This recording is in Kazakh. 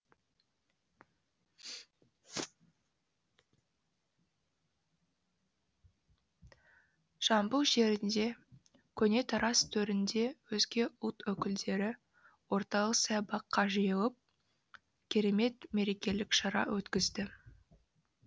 жамбыл жерінде көне тараз төрінде өзге ұлт өкілдері орталық саябаққа жиылып керемет мерекелік шара өткізді